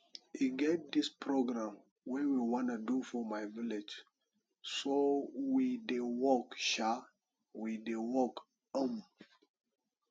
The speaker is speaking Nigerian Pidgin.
e get dis program we wanna do for my village so we dey work um dey work um